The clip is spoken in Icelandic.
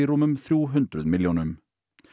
rúmum þrjú hundruð milljónum